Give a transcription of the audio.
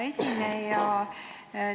Hea esineja!